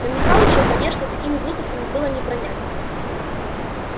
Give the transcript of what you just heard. но михалыча конечно такими глупостями было не пронять